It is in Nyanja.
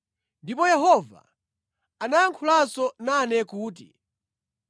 Ndipo Yehova anayankhulanso nane kuti,